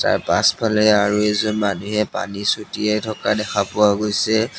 পাছফালে আৰু এজন মানুহে পানী ছটিয়াই থকা দেখা পোৱা গৈছে।